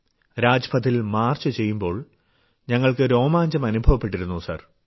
രാജ്പഥിൽ march ചെയ്യുമ്പോൾ ഞങ്ങൾക്ക് രോമാഞ്ചം അനുഭവപ്പെട്ടിരുന്നു സർ